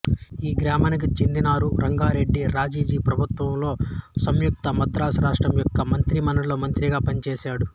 ఈ గ్రామానికి చెందిన నారు రంగారెడ్డి రాజాజీ ప్రభుత్వంలో సంయుక్త మద్రాసు రాష్ట్రం యొక్క మంత్రిమండలిలో మంత్రిగా పనిచేశాడు